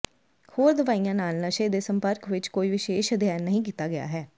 ਹੋਰ ਦਵਾਈਆਂ ਨਾਲ ਨਸ਼ੇ ਦੇ ਸੰਪਰਕ ਵਿਚ ਕੋਈ ਵਿਸ਼ੇਸ਼ ਅਧਿਐਨ ਨਹੀਂ ਕੀਤਾ ਗਿਆ ਹੈ